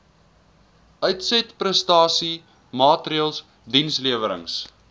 uitsetprestasie maatreëls dienslewerings